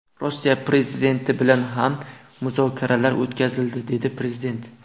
Rossiya prezidenti bilan ham muzokaralar o‘tkazildi”, dedi prezident.